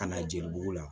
Ka na jelibugu la